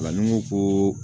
O la ni n ko ko